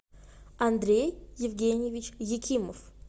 андрей евгеньевич екимов